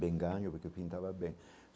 Bem ganho, porque eu pintava bem.